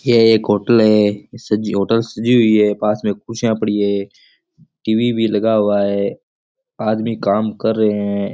ये एक होटल है सजी होटल्स सजी हुई है पास में कुर्सियां पड़ी है टी.वी भी लगा हुआ है आदमी काम कर रहे हैं।